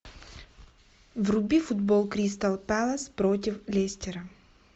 вруби футбол кристал пэлас против лестера